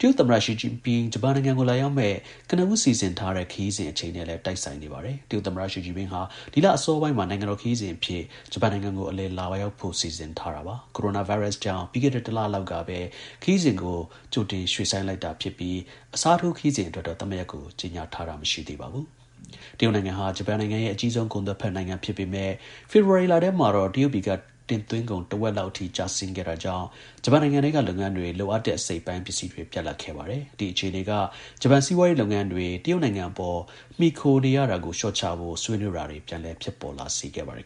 တရုတ် သမ္မတ ရှီကျင်ပင်း ဂျပန်နိုင်ငံကို လာရောက်မယ့် ကနဦး စီစဉ်ထားတဲ့ ခရီးစဉ် အချိန်နဲ့ လည်း တိုက်ဆိုင်နေပါတယ်။ တရုတ် သမ္မတ ရှီကျင်ပင်းဟာ ဒီလ အစောပိုင်းမှာ နိုင်ငံတော်ခရီးစဉ်အဖြစ် ဂျပန်နိုင်ငံကို အလည် လာ ရောက်ဖို့ စီစဉ်ထား တာပါ။ ကိုရိုနာ ဗိုင်းရပ်စ်ကြောင့် ပြီးခဲ့တဲ့ ၁ လလောက်ကပဲ ခရီးစဉ်ကို ရွှေ့ဆိုင်းလိုက်တာဖြစ်ပြီး အစားထိုး ခရီးစဉ် အတွက်တော့ သတ်မှတ်ရက်ကို ကြေညာထားတာ မရှိသေးပါဘူး။ တရုတ်နိုင်ငံဟာ ဂျပန်ရဲ့ အကြီးဆုံး ကုန်သွယ် ဖက်နိုင်ငံဖြစ်ပေမဲ့ ဖေဖော်ဝါရီလထဲမှာတော့ တရုတ်ပြည်က တင်သွင်းကုန် တဝက် လောက်အထိ ကျဆင်းခဲ့တာကြောင့် ဂျပန်နိုင်ငံထဲက လုပ်ငန်းတွေ လိုအပ်တဲ့ အစိတ်အပိုင်း ပစ္စည်းတွေ ပြတ်လပ်ခဲ့ပါတယ်။ အဲဒီ အခြေအနေက ဂျပန် စီးပွားရေးလုပ်ငန်းတွေ တရုတ်နိုင်ငံ အပေါ် မှီခိုနေရတာကို လျှော့ချဖို့ ဆွေးနွေးတာတွေ ပြန်လည် ဖြစ်ပေါ်လာ စေခဲ့ပါတယ်